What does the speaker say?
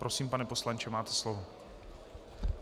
Prosím, pane poslanče, máte slovo.